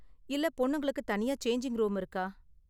இல்ல பொண்ணுங்களுக்கு தனியா சேஞ்சிங் ரூம் இருக்கா?